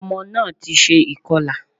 Ọmọ náà ti se ìkọlà